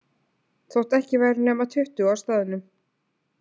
Þótt ekki væru nema tuttugu á staðnum.